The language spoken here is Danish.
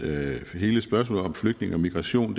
hele spørgsmålet om flygtninge og migration